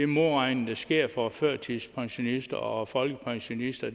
modregning der sker for førtidspensionister og folkepensionister